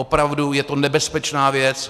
Opravdu je to nebezpečná věc.